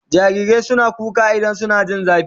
Jarirai suna kuka idan suna jin zafi